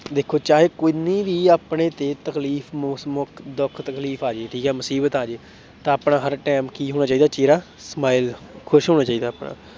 ਦੇਖੋ ਚਾਹੇ ਕਿੰਨੀ ਵੀ ਆਪਣੇ ਤੇ ਤਕਲੀਫ਼ ਦੁੱਖ ਤਕਲੀਫ਼ ਆ ਜਾਏ ਠੀਕ ਹੈ ਮੁਸੀਬਤ ਆ ਜਾਏ ਤਾਂ ਆਪਣਾ ਹਰ time ਕੀ ਹੋਣਾ ਚਾਹੀਦਾ ਚਿਹਰਾ smile ਖ਼ੁਸ਼ ਹੋਣਾ ਚਾਹੀਦਾ ਆਪਣਾ।